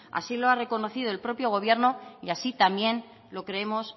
así lo ha reconocido el propio gobierno y así también lo creemos